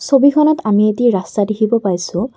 ছবিখনত আমি এটি ৰাস্তা দেখিব পাইছোঁ।